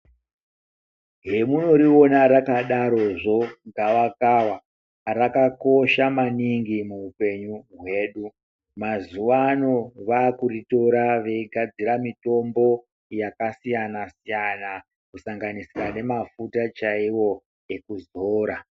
Zvemunoriona rakadarozvo gavakava, rakakosha maningi muupenyu hwedu. Mazuwa ano vaakuritora veigadzira mitombo yakasiyana siyana kusanganisa nemafuta chaiwo ekuzora.